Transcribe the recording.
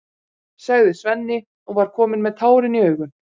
sagði Svenni og var kominn með tárin í augun.